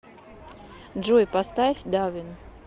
джой поставь давин